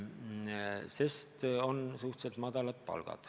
Aga palgad on suhteliselt madalad.